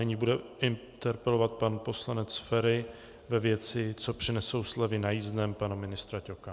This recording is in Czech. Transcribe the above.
Nyní bude interpelovat pan poslanec Feri ve věci co přinesou slevy na jízdném pana ministra Ťoka.